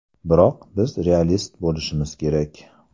Biroq biz realist bo‘lishimiz kerak.